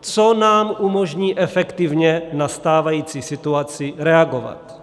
co nám umožní efektivně na stávající situaci reagovat.